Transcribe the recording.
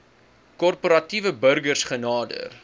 korporatiewe burgers genader